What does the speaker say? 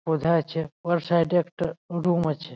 বোঝা যাচ্ছে আছে ওর সাইড -এ একটা রুম আছে ।